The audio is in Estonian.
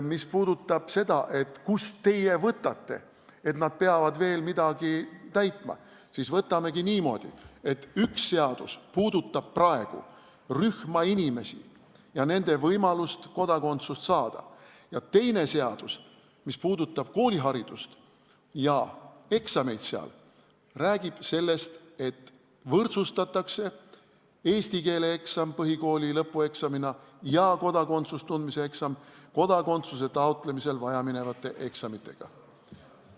Mis puudutab aga seda, et kust teie võtate, et nad peavad veel midagi täitma, siis võtamegi niimoodi, et üks seadus puudutab praegu rühma inimesi ja nende võimalust kodakondsust saada ning teine seadus, see, mis puudutab kooliharidust ja sealseid eksameid, räägib sellest, et võrdsustatakse eesti keele eksam põhikooli lõpueksamiga ja kodakondsuse seaduse tundmise eksam kodakondsuse taotlemisel vajaminevate eksamitega.